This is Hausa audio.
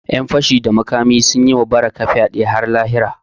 Ƴan fashi da makami sun yi wa Barakah fyade har lahira